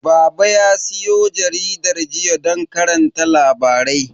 Baba ya siyo jaridar jiya don karanta labarai.